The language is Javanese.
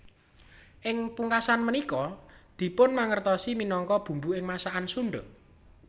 Ing pungkasan punika dipunmangertosi minangka bumbu ing masakan Sunda